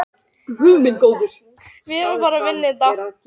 Smám saman fór hún að tala við gamla manninn og strákinn.